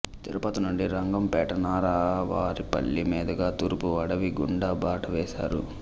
తిరుపతి నుండి రంగంపేట నారావారిపల్లి మీదుగా తూర్పు అడవి గుండా బాటవేశారు